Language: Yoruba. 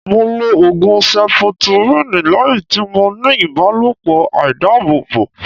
Mo lo Ògùn seputiríǹ lẹ́yìn tí mo ní ìbálòpọ̀ àìdábòbò.